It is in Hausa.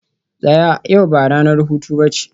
tsaya! yau ba ranar hutu ba ce